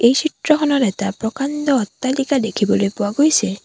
এই চিত্ৰখনত এটা প্ৰকাণ্ড অট্টালিকা দেখিবলৈ পোৱা গৈছে।